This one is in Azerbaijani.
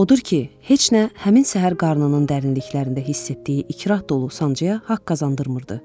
Odur ki, heç nə həmin səhər qarnının dərinliklərində hiss etdiyi ikrah dolu sancıya haqq qazandırmırdı.